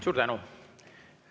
Suur tänu!